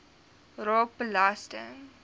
raak belasting